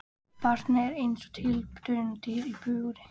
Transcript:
Barnið er eins og tilraunadýr í búri.